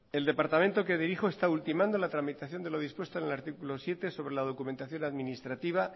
el departamento que dirijo está ultimando la tramitación de los dispuestos en el artículo siete sobre la documentación administrativa